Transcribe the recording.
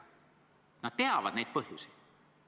Nad teavad neid põhjusi.